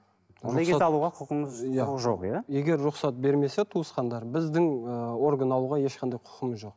егер рұқсат бермесе туысқандар біздің ыыы орган алуға ешқандай құқымыз жоқ